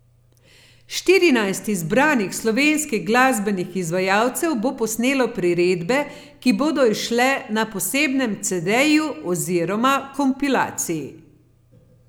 Štirinajst izbranih slovenskih glasbenih izvajalcev bo posnelo priredbe, ki bodo izšle na posebnem cedeju oziroma kompilaciji.